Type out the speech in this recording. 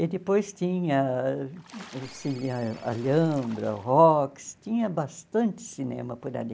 E depois tinha O Cine Alhambra, o Rox, tinha bastante cinema por ali.